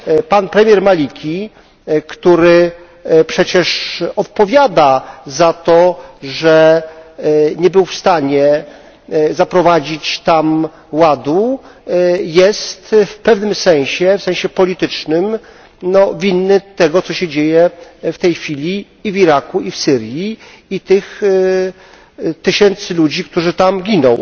Pan premier Maliki, który przecież odpowiada za to, że nie był w stanie zaprowadzić tam ładu, jest w pewnym sensie, w sensie politycznym, winny tego co się dzieje w tej chwili i w Iraku, i w Syrii, i winny śmierci tych tysięcy ludzi, którzy tam giną.